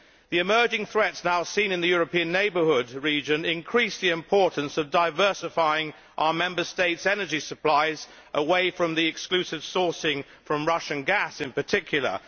The emerging threats now seen in the European neighbourhood region increase the importance of diversifying our Member States' energy supplies away from the exclusive sourcing from Russian gas in particular.